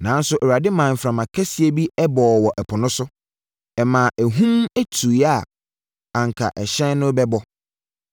Nanso Awurade maa mframa kɛseɛ bi bɔɔ wɔ ɛpo no so; ɛmaa ahum tuiɛ a, anka ɛhyɛn no rebɛbɔ.